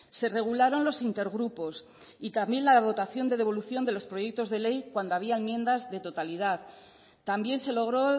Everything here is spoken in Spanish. se regularon los intergrupos y también la votación de devolución de los proyectos de ley cuando había enmiendas de totalidad también se logró